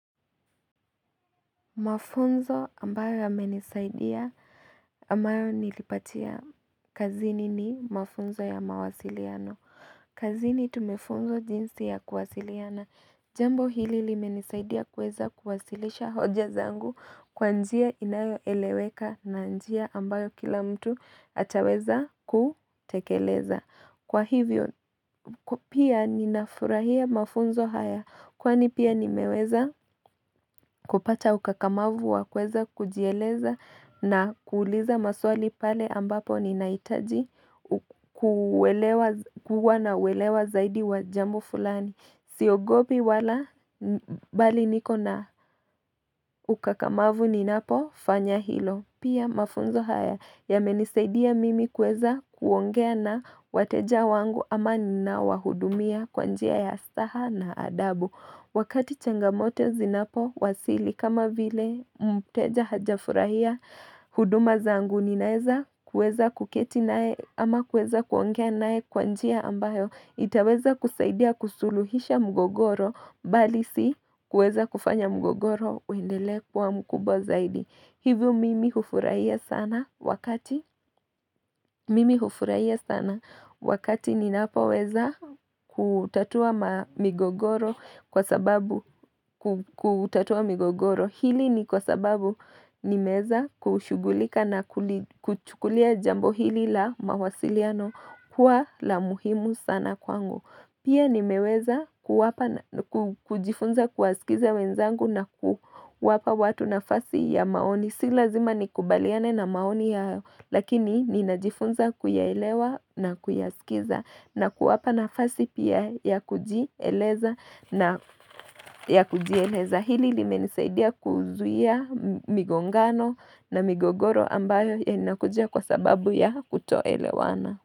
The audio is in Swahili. Mafunzo ambayo yamenisaidia ama nilipatia. Kazini ni mafunzo ya mawasiliano. Kazini tumefunzwa jinsi ya kuwasiliana. Jambo hili limenisaidia kuweza kuwasilisha hoja zangu kwa njia inayoeleweka na njia ambayo kila mtu ataweza kutekeleza. Kwa hivyo, pia ninafurahia mafunzo haya kwani pia nimeweza kupata ukakamavu wa kuweza kujieleza na kuuliza maswali pale ambapo ninahitaji ku kuwa nauelewa zaidi wa jambo fulani, siogopi wala, bali niko na ukakamavu ninapofanya hilo. Pia mafunzo haya yamenisaidia mimi kuweza kuongea na wateja wangu ama ninawahudumia kwa njia ya saha na adabu, Wakati changamoto zinapowasili kama vile mteja hajafurahia huduma zangu ninaweza kuweza kuketi nae ama kuweza kuongea nae kwa njia ambayo itaweza kusaidia kusuluhisha mgogoro, bali si kuweza kufanya mgogoro uendelee kwa mkubwa zaidi. Hivyo mimi hufurahia sana wakati Mimi hufurahia sana wakati ninapoweza kutatua ma migogoro kwa sababu kutatua migogoro, Hili ni kwa sababu, nimeweza kushughulika na kuchukulia jambo hili la mawasiliano kuwa la muhimu sana kwangu. Pia nimeweza kuwapa kujifunza kuwasikiza wenzangu na kuwapa watu nafasi ya maoni, si lazima nikubaliane na maoni ya Lakini ninajifunza kuyaelewa na kuyaskiza na kuwapa nafasi pia ya kujieleza na ya kujieleza, hili limenisaidia kuzuia migongano na migogoro ambayo yanakuja kwa sababu ya kutoelewana.